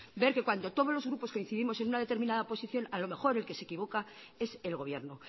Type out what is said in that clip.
ver que cuando todos los grupos coincidimos en una determinada posición a lo mejor el que se equivoca es el gobierno